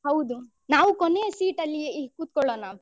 ಹೌದು ನಾವು ಕೊನೆಯ seat ಅಲ್ಲಿ ಕೂತ್ಕೊಳ್ಳೋಣ.